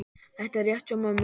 Þetta er rétt hjá mömmu.